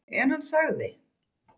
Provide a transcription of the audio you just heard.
En hann sagði